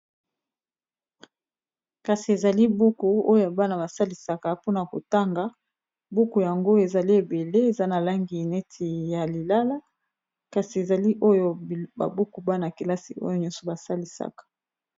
kasi ezali buku oyo bana basalisaka mpona kotanga, buku yango ezali ebele eza na langi neti ya lilala ,kasi ezali oyo ba buku bana-kelasi oyo nyonso basalisaka.